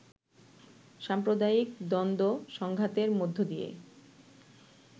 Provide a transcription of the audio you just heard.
সাম্প্রদায়িক দ্বন্দ্ব-সংঘাতের মধ্য দিয়ে